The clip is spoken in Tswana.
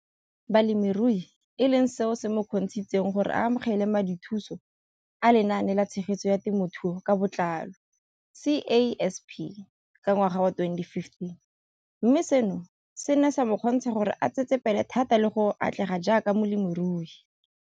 Balemirui e leng seo se mo kgontshitseng gore a amogele madithuso a Lenaane la Tshegetso ya Te mothuo ka Botlalo, CASP] ka ngwaga wa 2015, mme seno se ne sa mo kgontsha gore a tsetsepele thata le go atlega jaaka molemirui.